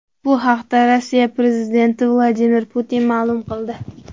Bu haqda Rossiya prezidenti Vladimir Putin ma’lum qildi .